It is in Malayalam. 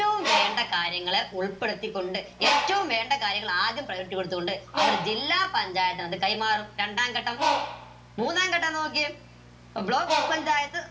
എറ്റവും വേണ്ട കാര്യങ്ങൾ ഉൾപ്പെടുത്തിക്കൊണ്ട് ഏറ്റവും വേണ്ട കാര്യങ്ങൾ ആദ്യം priority കൊടുത്തുകൊണ്ട് അവരത് ജില്ലാ പഞ്ചായത്തിന് അത് കൈമാറും രണ്ടാം ഘട്ടം മൂന്നാം ഘട്ടം നോക്കിയേ block പഞ്ചായത്ത്